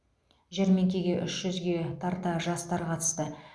жәрмеңкеге үш жүзге тарта жастар қатысты